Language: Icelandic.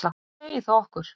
Hvað segir það okkur?